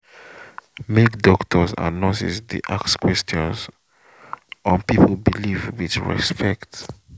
make doctors and nurses dey ask questions on people belief with repect